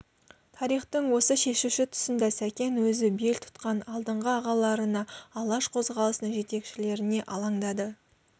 тарихтың осы шешуші тұсында сәкен өзі бел тұтқан алдыңғы ағаларына алаш қозғалысының жетекшілеріне алаңдады